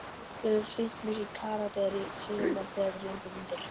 Við höfum sýnt mikinn karakter í sumar þegar við lendum undir.